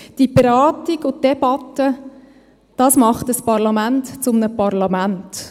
Die Beratung und die Debatte machen ein Parlament zu einem Parlament.